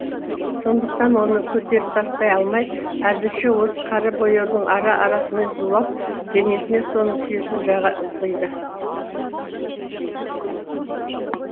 сондықтан оны көтеріп тастай алмай әзірше осы қара бояудың ара арасымен зулап денесіне соның күйесін жаға ызғиды